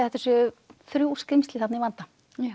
þetta séu þrjú skrímsli þarna í vanda